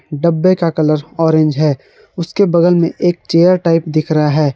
डब्बे का colour orange है उसके बगल में एक चेयर टाइप दिख रहा है।